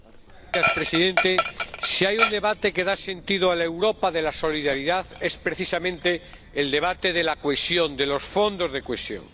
Señor presidente, si hay un debate que da sentido a la Europa de la solidaridad es precisamente el debate de la cohesión, de los fondos de cohesión.